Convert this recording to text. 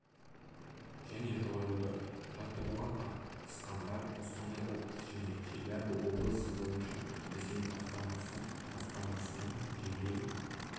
және жойылды жаттығуға қатысқандар қостанай облысы және челябі облысы бойынша ресей басқармасы басқармасының жедел